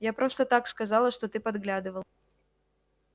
я просто так сказала что ты подглядывал